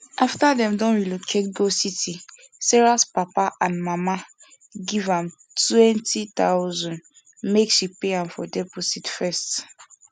after them don relocate go city sarahs papa and mama give am 20000 make she pay am for deposit first